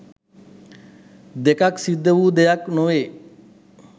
දෙකක් සිද්ධ වූ දෙයක් නොවේ.